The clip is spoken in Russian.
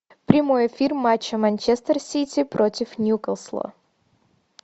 прямой эфир матча манчестер сити против ньюкасла